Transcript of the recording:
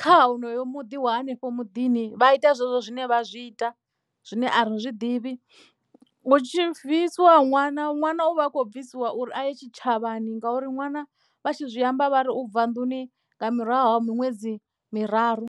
kha honoyo muḓi wa hanefho muḓini vha ita zwezwo zwine vha zwi ita zwine a ri zwiḓivhi hu tshi bvisiwa ṅwana ṅwana u vha a khou bvisiwa uri a ye tshitshavhani ngauri ṅwana vha tshi zwi amba vha ri u bva nḓuni nga murahu ha miṅwedzi miraru.